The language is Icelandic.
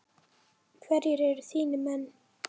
Hverjir eru þínir menn?